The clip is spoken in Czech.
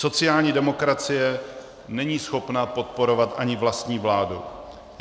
Sociální demokracie není schopna podporovat ani vlastní vládu.